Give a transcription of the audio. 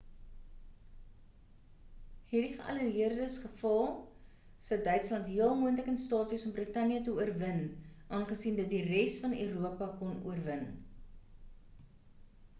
het die geallieërdes gefaal sou duitsland heel moontlik in staat wees om brittanje te oorwin aangesien dit die res van europa kon oorwin